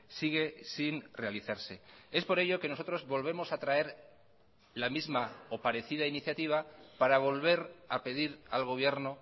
sigue sin realizarse es por ello que nosotros volvemos a traer la misma o parecida iniciativa para volver a pedir al gobierno